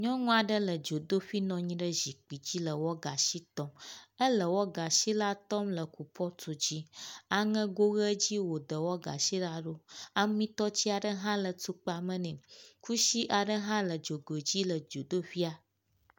nyɔŋuaɖe le dzodoƒi nɔnyi ɖe zikpidzi le wɔgashi tɔm éle wɔgashi la tɔm le kupɔtu dzi aŋego ɣe dzie wò de wɔgashi la ɖó amitɔtsiaɖe ha le tukpa me nɛ kusi aɖe hã le dzogoe dzi le dzodoƒia